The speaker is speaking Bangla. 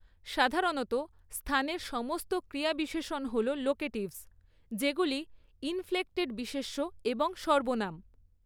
সাধারণত স্থানের সমস্ত ক্রিয়াবিশেষণ হল 'লোকেটিভস', যেগুলি ইনফ্লেকক্টেড বিশেষ্য এবং সর্বনাম।